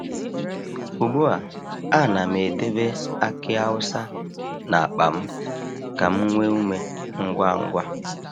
Ugbu a, a na'm edebe aki awusa n’akpa m ka m nwee ume ngwa ngwa.